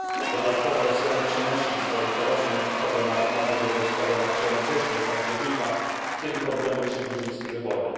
Dodatkowo Rosjanie przenieśli swoje coroczne lipcowe manewry wojskowe na przełom września i października, kiedy to odbędą się gruzińskie wybory.